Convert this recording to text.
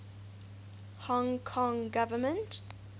hong kong government